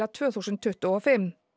tvö þúsund tuttugu og fimm